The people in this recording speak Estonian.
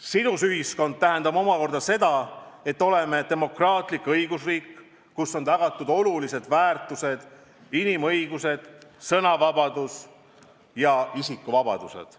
Sidus ühiskond tähendab omakorda seda, et oleme demokraatlik õigusriik, kus on tagatud olulised väärtused, inimõigused, sõnavabadus ja isikuvabadused.